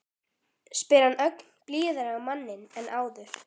spyr hann ögn blíðari á manninn en áður.